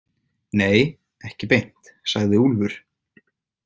Nei, ekki beint, sagði Úlfur.